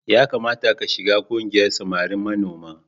Ya kamata ka shigar ƙungiyar samari manoma.